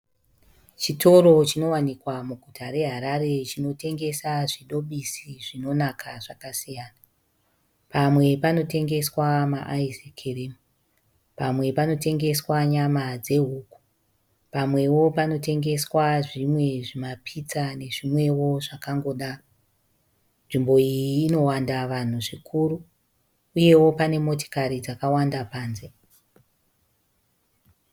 Chitoro chinowanikwa muguta reHarare chinotengesa zvidhobhisi zvinonaka zvakasiyana. Pamwe panotengeswa maaisi kirimu. Pamwe panotengeswa nyama dzehuku. Pamwewo panotengeswa zvimwe zvimapitsa nezvimwewo zvakangodaro. Nzvimbo iyi inowanda vanhu zvikuru uyewo pane motikari dzakawanda panze.